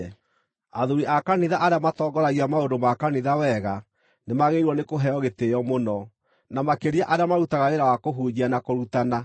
Athuuri a kanitha arĩa matongoragia maũndũ ma kanitha wega nĩmagĩrĩirwo nĩ kũheo gĩtĩĩo mũno, na makĩria arĩa marutaga wĩra wa kũhunjia na kũrutana.